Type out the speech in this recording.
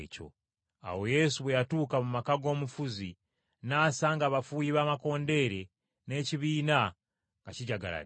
Awo Yesu bwe yatuuka mu maka g’omufuzi n’asanga abafuuyi b’amakondeere n’ekibiina nga kijagaladde,